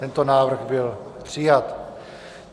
Tento návrh byl přijat.